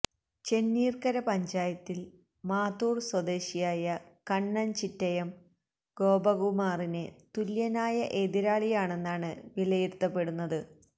ചെന്നീർക്കര പഞ്ചായത്തിൽ മാത്തൂർ സ്വദേശിയായ കണ്ണൻ ചിറ്റയം ഗോപകുമാറിന് തുല്യനായ എതിരാളിയാണെന്നാണ് വിലയിരുത്തപ്പെടുന്നത്